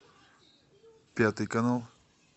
пятый канал